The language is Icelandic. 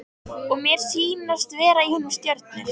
Og mér sýnast vera í honum stjörnur.